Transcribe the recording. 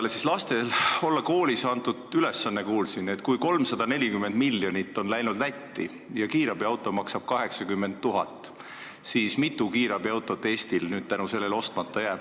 Kuulsin, et lastele olla koolis antud ülesanne, et kui 340 miljonit on läinud Lätti ja kiirabiauto maksab 80 000, siis kui mitu kiirabiautot Eestil nüüd selle tõttu ostmata jääb.